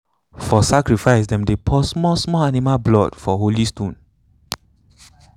for sacrifice them dey pour small small animal blood for holy stone.